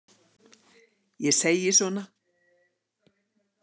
Ég segi svona.